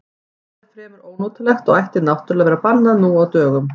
Það er fremur ónotalegt og ætti náttúrlega að vera bannað nú á dögum.